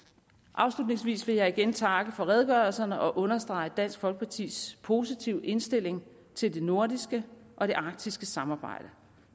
afslutningsvis vil jeg igen takke for redegørelserne og understrege dansk folkepartis positive indstilling til det nordiske og det arktiske samarbejde